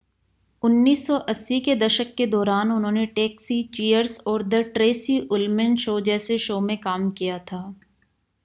1980 के दशक के दौरान उन्होंने टैक्सी चीयर्स और द ट्रेसी उल्मैन शो जैसे शो में काम किया था